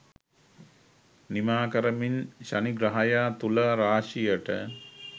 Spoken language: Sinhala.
නිමා කරමින් ශනි ග්‍රහයා තුලා රාශියට